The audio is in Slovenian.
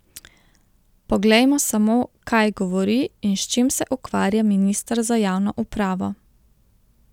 Poglejmo samo, kaj govori in s čim se ukvarja minister za javno upravo?